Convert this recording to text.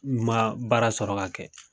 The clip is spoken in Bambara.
N kuma baara sɔrɔ ka kɛ